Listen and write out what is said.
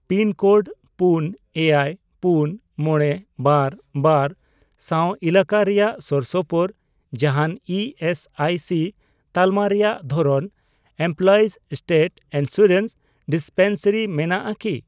Pin code ᱯᱩᱱ, ᱮᱭᱟᱭ ,ᱯᱩᱱ, ᱢᱚᱬᱮ, ᱵᱟᱨ, ᱵᱟᱨ ᱥᱟᱶ ᱮᱞᱟᱠᱟ ᱨᱮᱭᱟᱜ ᱥᱳᱨᱥᱳᱯᱳᱨ ᱡᱟᱦᱟᱱ ᱤ ᱮᱥ ᱟᱭ ᱥᱤ ᱛᱟᱞᱢᱟ ᱨᱮᱭᱟᱜ ᱫᱷᱚᱨᱚᱱ ᱮᱢᱯᱞᱚᱭᱤᱡᱽ ᱥᱴᱮᱴ ᱤᱱᱥᱩᱨᱮᱱᱥ ᱰᱤᱥᱯᱮᱱᱥᱟᱨᱤ ᱢᱮᱱᱟᱜᱼᱟ ᱠᱤ ?